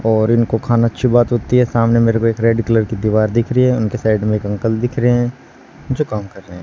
और इनको खाना अच्छी बात होती है सामने मेरे को एक रेड कलर की दीवार दिख रही है उनके साइड में एक अंकल दिख रहे हैं जो काम कर रहे हैं।